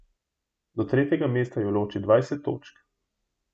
Do tretjega mesta ju loči dvajset točk.